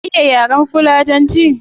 Ka iya yaren fulani?